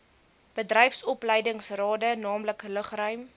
bedryfsopleidingsrade naamlik lugruim